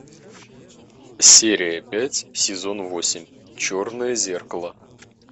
серия пять сезон восемь черное зеркало